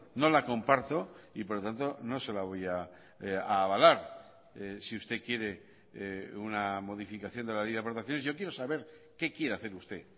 no la comparto y por lo tanto no se la voy a avalar si usted quiere una modificación de la ley de aportaciones yo quiero saber qué quiere hacer usted